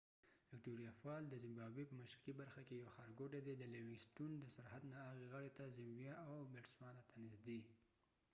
وکتوریا فال ` د زمبابوي په مشرقی برخه کې یو ښارګوټی دي د لیوېنګ سټون د سرحد نه هغې غاړی ته ، زمبیا او بټسوانا ته نزدي